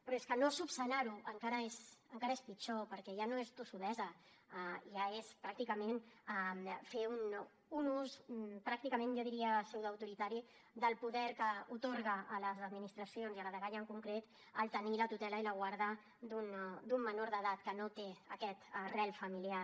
però és que no esmenar ho encara és pitjor perquè ja no és tossudesa ja és pràcticament fer un ús pràcticament jo diria pseudoautoritari del poder que atorga a les administracions i a la dgaia en concret tenir la tutela i la guarda d’un menor d’edat que no té aquest arrelament familiar